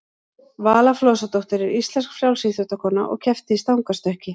vala flosadóttir er íslensk frjálsíþróttakona og keppti í stangarstökki